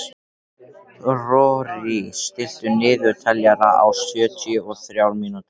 Rorí, stilltu niðurteljara á sjötíu og þrjár mínútur.